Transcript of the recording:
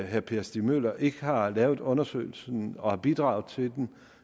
herre per stig møller ikke har lavet undersøgelsen og bidraget til den